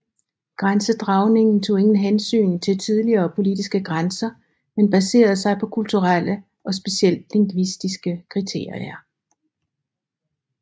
Grænsedragningen tog ingen hensyn til tidligere politiske grænser men baserede sig på kulturelle og specielt lingvistiske kriterier